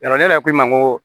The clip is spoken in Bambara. Yɔrɔ ne yɛrɛ ko i ma n ko